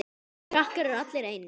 Þessir krakkar eru allir eins.